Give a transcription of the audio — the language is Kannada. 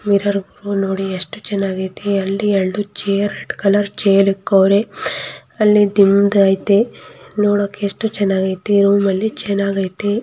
ಮಿರ್ರೊಗು ನೋಡಿ ಎಷ್ಟು ಚೆನ್ನಾಗ್ ಅಯ್ತಿ ಅಲ್ಲಿ ಎರಡು ಚೇರ್ ರೆಡ್ ಕಲರ್ ಚೆರ್ ಇಕ್ಕವ್ರೆ ಅಲ್ಲಿ ದಿಂಬು ಅಯ್ತ್ನಿ. ನೋಡೋಕ್ಕೆ ಎಷ್ಟು ಚೆನ್ನಾಗಿ ಐತೆ ರೂಮ್ ಅಲ್ಲಿ ಚೆನ್ನಾಗಿ ಐತೆ --